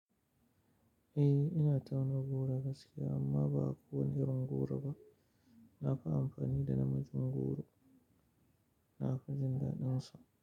Eh ina tauna goro gaskiya amma ba kowane irin goro ba. Nafi amfani da namijin goro nafi jindadin sa.